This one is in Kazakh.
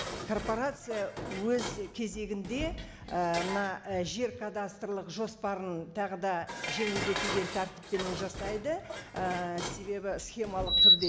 корпорация өз кезегінде ііі мына і жер кадастрлық жоспарын тағы да жеңілдетілген тәртіппенен жасайды ііі схемалық түрде